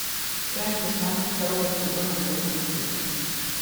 часть шестнадцать второго сезона жирным шрифтом